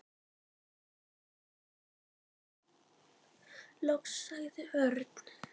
Loks sagði Örn.